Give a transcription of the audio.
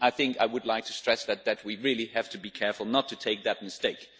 I would like to stress that we really have to be careful not to make that mistake.